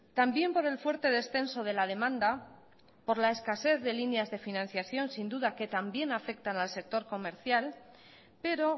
también por el fuerte descenso de la demanda por la escasez de líneas de financiación sin duda que también afectan al sector comercial pero